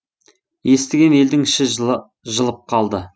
естіген елдің іші жылып қалды